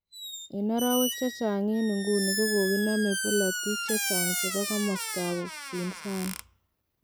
En orowek chechang en inguni kogoginame polotiik chechang chebo komosto ab upinzani.